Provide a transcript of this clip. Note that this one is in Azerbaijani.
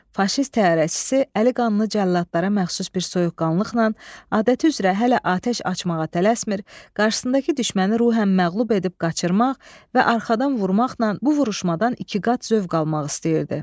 Faşist təyyarəçisi əli qanlı cəlladlara məxsus bir soyuqqanlıqla adəti üzrə hələ atəş açmağa tələsmir, qarşısındakı düşməni ruhən məğlub edib qaçırmaq və arxadan vurmaqla bu vuruşmadan iki qat zövq almaq istəyirdi.